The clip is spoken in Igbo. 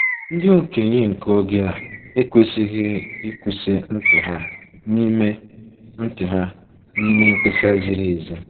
Ndị okenye nke oge a ekwesịghị 'ịkwụsị ntị ha' n'ime ntị ha' n'ime mkpesa ziri ezi.